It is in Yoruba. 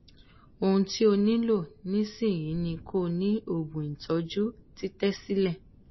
ohun ti o nilo nisin ni ko si oogun itoju titesile